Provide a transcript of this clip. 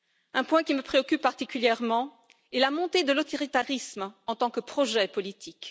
Un point qui me préoccupe particulièrement est la montée de l'autoritarisme en tant que projet politique.